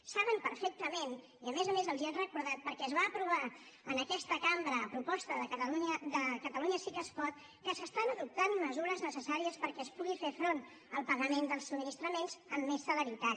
saben perfectament i a més a més els ho han recordat perquè es va aprovar en aquesta cambra a proposta de catalunya sí que es pot que s’estan adoptant mesures necessàries perquè es pugui fer front al pagament dels subministraments amb més celeritat